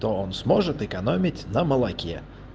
то он сможет экономить на молоке